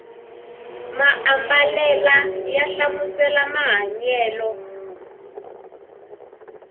maambalela ya hlamusela mahanyelo